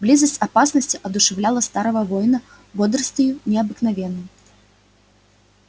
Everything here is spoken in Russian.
близость опасности одушевляла старого воина бодростию необыкновенной